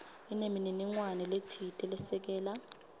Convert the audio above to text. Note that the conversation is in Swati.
inemininingwane letsite lesekela